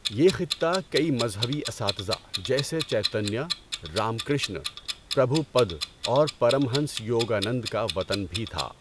یہ خطہ کئی مذہبی اساتذہ، جیسے چیتنیا، رام کرشن، پربھوپد اور پرمہنس یوگانند کا وطن بھی تھا۔